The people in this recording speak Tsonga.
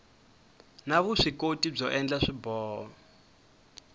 na vuswikoti byo endla swiboho